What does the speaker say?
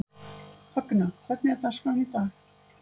Högna, hvernig er dagskráin í dag?